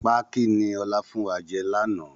Pákí ni ọ̀la fún wa jẹ láánaà